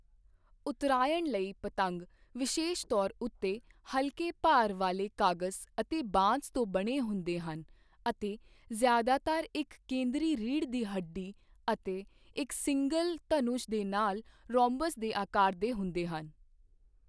ਉੱਤਰਾਇਣ ਲਈ ਪਤੰਗ ਵਿਸ਼ੇਸ਼ ਤੌਰ ਉੱਤੇ ਹਲਕੇ ਭਾਰ ਵਾਲੇ ਕਾਗਜ਼ ਅਤੇ ਬਾਂਸ ਤੋਂ ਬਣੇ ਹੁੰਦੇ ਹਨ ਅਤੇ ਜ਼ਿਆਦਾਤਰ ਇੱਕ ਕੇਂਦਰੀ ਰੀੜ੍ਹ ਦੀ ਹੱਡੀ ਅਤੇ ਇੱਕ ਸਿੰਗਲ ਧਨੁਸ਼ ਦੇ ਨਾਲ ਰੋਮਬਸ ਦੇ ਆਕਾਰ ਦੇ ਹੁੰਦੇ ਹਨ।